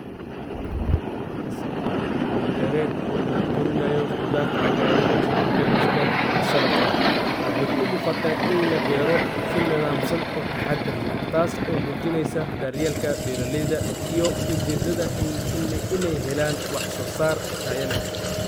Waxa kasocdaa hawl beered oo lagu korinayo qudhaarto Caagayran sidaa kabashka iyo salatka waxey umuqataa in labeero si nadhamsan oo taxadar leh tas oo mujineysaa daryeelka beeraleydaa iyo u jeedadha iney heelan wax soosar Taya leh .